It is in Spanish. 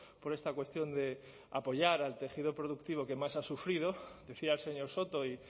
por esta cuestión de apoyar al tejido productivo que más ha sufrido decía el señor soto y